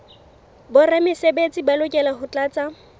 boramesebetsi ba lokela ho tlatsa